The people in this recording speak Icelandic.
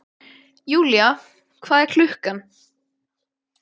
Julia, hvað er klukkan?